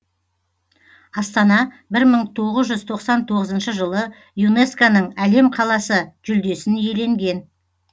астана бір мың тоғыз жүз тоқсан тоғызыншы жылы юнеско ның әлем қаласы жүлдесін иеленген